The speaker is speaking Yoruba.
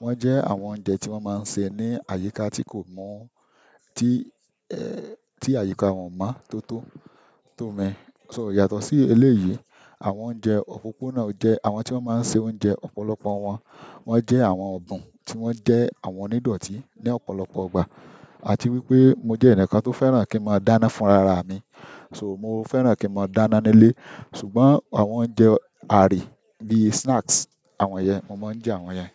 wọ́n jẹ́ àwọn oúnjẹ tí wọ́n máa ń ṣe ní àyíká tí kò mọ̀ tí àyíká wọn mọ́ tó tó, tó mi, so yàtọ̀ sí eléyìí, àwọn oúnjẹ òpópónà jẹ́ àwọn tí wọ́n máa ń ṣe oúnjẹ ọ̀pọ̀lọpọ̀ wọn, wọ́n jẹ́ àwọn ọ̀bùn tí wọ́n jẹ́ àwọn onídọtí ní ọ̀pọ̀lọpọ̀ ìgbà. Àti wípé mo jẹ́ ẹnìkan tó fẹ́ràn kí n máa dáná fún rara mi. So mo fẹ́ràn kí n máa dáná nílé, ṣùgbọ́n àwọn oúnjẹ àáre bí i snacks, àwọn yẹn, mo máa ń jẹ àwọn yẹn.